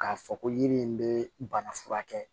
K'a fɔ ko yiri in bɛ bana furakɛ